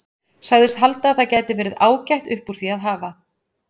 Sagðist halda að það gæti verið ágætt upp úr því að hafa.